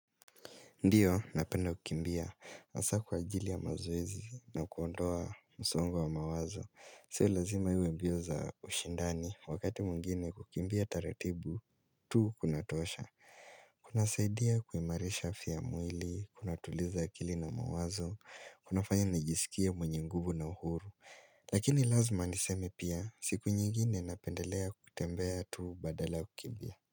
Ndio, napenda kukimbia. Hasa kwa ajili ya mazoezi na kuondoa msongo wa mawazo. Sio lazima iwe mbio za ushindani. Wakati mwingine kukimbia taratibu, tu kuna tosha. Kuna saidia kuimarisha afya ya mwili, kuna tuliza akili na mawazo, kuna fanya najisikia mwenye nguvu na uhuru. Lakini lazima niseme pia, siku nyingine napendelea kutembea tu badala kukimbia.